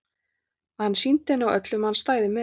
Að hann sýndi henni og öllum að hann stæði með henni.